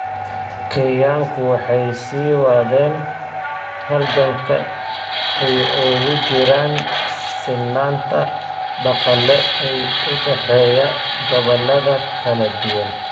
Kenyaanku waxay sii wadeen halganka ay ugu jiraan sinnaanta dhaqaale ee u dhexeeya gobollada kala duwan.